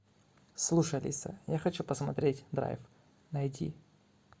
слушай алиса я хочу посмотреть драйв найти